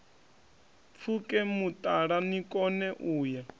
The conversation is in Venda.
pfuke mutala nikone u ya